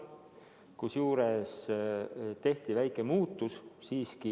Kusjuures tehti väike muudatus siiski.